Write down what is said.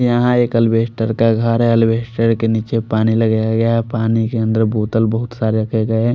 यहाँ एक एल्बेस्टर का घर है एल्बेस्टर के निचे पानी लगाया गया है पानी के अनदर बोटल बोहोत सारे रखे गये है।